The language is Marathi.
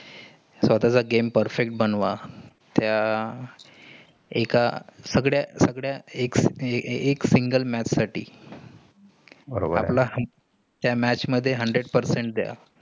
स्वतःचे game perfect बनवा. त्या एका सगळ्या सगळ्या एक single match साठी आपला त्या match मध्ये hundred percent द्या.